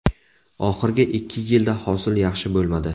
Oxirgi ikki yilda hosil yaxshi bo‘lmadi.